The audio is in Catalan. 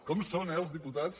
com són eh els diputats